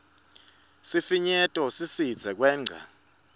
sifinyeto sisidze kwengca